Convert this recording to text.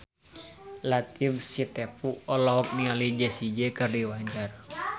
Latief Sitepu olohok ningali Jessie J keur diwawancara